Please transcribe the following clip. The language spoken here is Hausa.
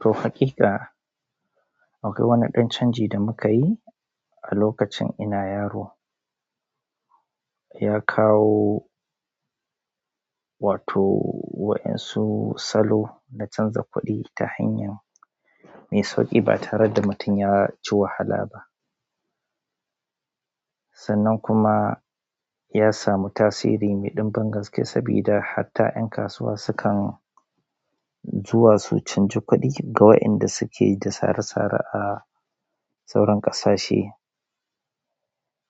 To, hakika akwai wani ɗan canji da muka yi a lokacin ina yaro. Ya kawo, wato wayansu salo na canza kuɗi ta hanyar mai sauƙi ba tare da mutum ya ji wahala ba. Sannan kuma ya samu tasiri mai ɗimbin gaske sabida hatta ƴan kasuwa sukan zuwa su canji kuɗi ga wayanda suke da sare-sare a sauran ƙasashe.